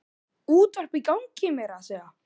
Útvarp í gangi meira að segja.